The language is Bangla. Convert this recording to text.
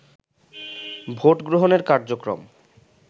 ভোট গ্রহণের কার্যক্রম